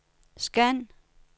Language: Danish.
scan